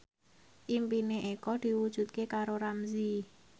impine Eko diwujudke karo Ramzy